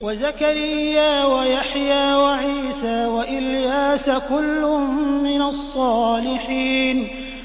وَزَكَرِيَّا وَيَحْيَىٰ وَعِيسَىٰ وَإِلْيَاسَ ۖ كُلٌّ مِّنَ الصَّالِحِينَ